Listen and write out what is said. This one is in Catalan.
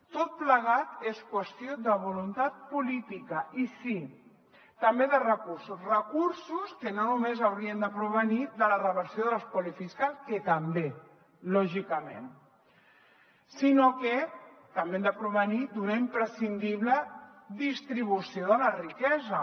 tot plegat és qüestió de voluntat política i sí també de recursos recursos que no només haurien de provenir de la reversió de l’espoli fiscal que també lògicament sinó que també han de provenir d’una imprescindible distribució de la riquesa